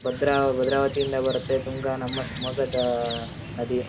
ಭದ್ರ ಭದ್ರಾವತಿ ಇಂದ ಬರುತ್ತೆ ತುಂಗಾ ನಮ್ಮ ಶಿವಮೊಗ್ಗದಾಆ ನದಿ --